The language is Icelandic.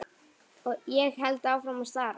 Ég held áfram að stara.